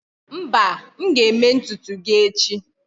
mba, aga m eme ntutu gi echi